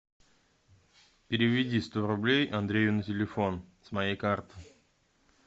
переведи сто рублей андрею на телефон с моей карты